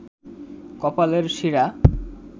কপালের শিরা